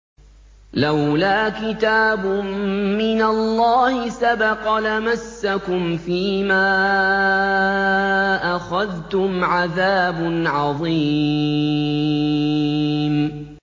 لَّوْلَا كِتَابٌ مِّنَ اللَّهِ سَبَقَ لَمَسَّكُمْ فِيمَا أَخَذْتُمْ عَذَابٌ عَظِيمٌ